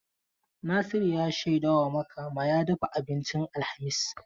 Nasiru ya shaida wa Makama ya dafa abincin alhamis.